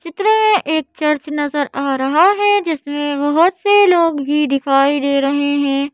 चित्र में एक चर्च नजर आ रहा है जिसमें बहुत से लोग भी दिखाई दे रहे हैं।